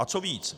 A co víc?